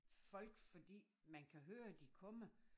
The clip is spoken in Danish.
Folk fordi man kan høre de kommer